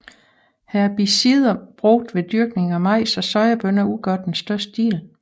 Herbicider brugt ved dyrkning af majs og sojabønner udgør den største del